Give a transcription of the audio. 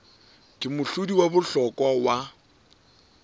ke mohlodi wa bohlokwa wa